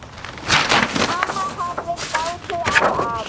Amma horfir gáttuð á afa.